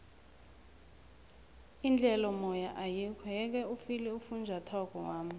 indlel'omoya ayikho yeke ufile ufunjathwako wami